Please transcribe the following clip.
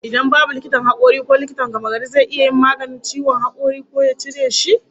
Idan babu likitan hakuri, ko likitan gamagari zai iya yin maganin ciwon hakori ko ya cire shi?